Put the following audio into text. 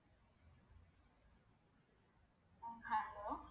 உம் hello